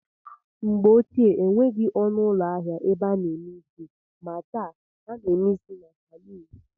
Mgbe ochie enweghị ọnụụlọ ahịa ebe a na-eme isi maa taa, a na-eme isi na salun